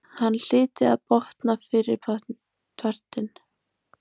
Hann hlyti að botna fyrripartinn.